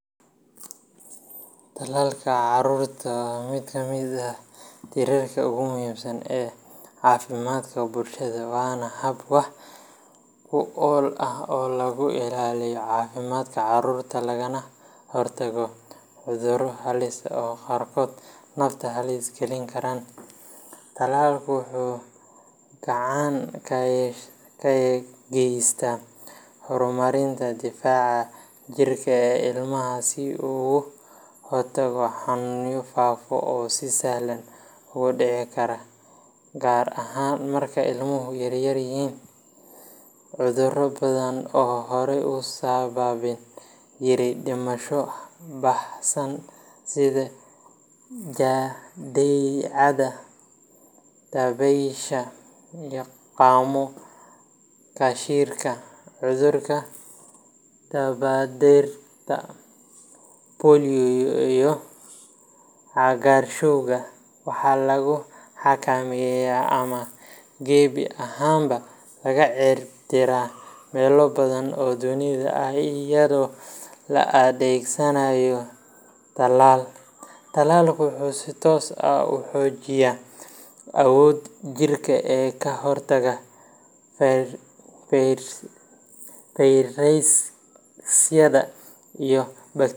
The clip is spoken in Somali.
Tallaalka carruurta waa mid ka mid ah tiirarka ugu muhiimsan ee caafimaadka bulshada, waana hab wax ku ool ah oo lagu ilaalinayo caafimaadka carruurta lagana hortagayo cudurro halis ah oo qaarkood nafta halis gelin kara. Tallaalku wuxuu gacan ka geystaa horumarinta difaaca jidhka ee ilmaha si uu uga hortago xanuunno faafa oo si sahlan u dhici kara, gaar ahaan marka ilmuhu yaryahay. Cudurro badan oo horey u sababi jiray dhimasho baahsan sida jadeecada, dabaysha, qaamo qashiinka, cudurka dabadheerta polio, iyo cagaarshowga, waxaa lagu xakameeyay ama gebi ahaanba laga cirib tiray meelo badan oo dunida ah iyadoo la adeegsanayo tallaal. Tallaalku wuxuu si toos ah u xoojiyaa awoodda jirka ee ka hortagga fayrasyada iyo.